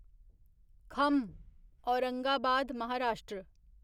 खम औरंगाबाद महाराष्ट्र